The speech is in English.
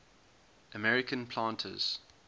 american planters